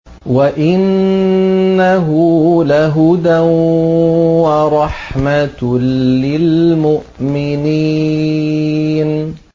وَإِنَّهُ لَهُدًى وَرَحْمَةٌ لِّلْمُؤْمِنِينَ